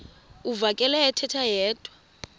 uvakele ethetha yedwa